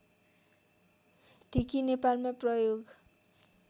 ढिकी नेपालमा प्रयोग